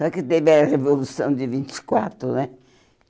Só que teve a Revolução de vinte e quatro, né?